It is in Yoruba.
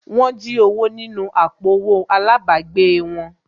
Wọ́n jí owó nínú àpò owó àlábàgbèè wọn